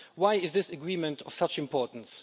Why is this agreement of such importance?